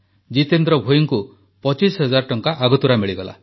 ଜିତେନ୍ଦ୍ର ଭୋଇଙ୍କୁ ପଚିଶ ହଜାର ଟଙ୍କା ଆଗତୁରା ମିଳିଗଲା